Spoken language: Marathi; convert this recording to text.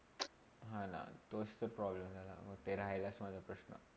हो ना, तोच ते problem झालाना तो राहिला माझा प्रश्न